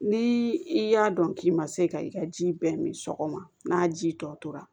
Ni i y'a dɔn k'i ma se ka i ka ji bɛɛ min sɔgɔma n'a ji tɔ tora